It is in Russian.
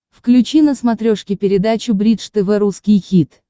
включи на смотрешке передачу бридж тв русский хит